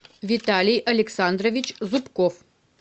виталий александрович зубков